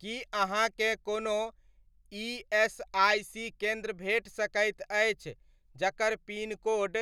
की अहाँकेँ कोनो इएसआइसी केन्द्र भेट सकैत अछि जकर पिनकोड